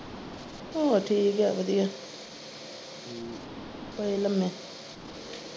ਹੋਰ ਠੀਕ ਆ ਵਧੀਆ ਪਏ ਲੰਮੇ।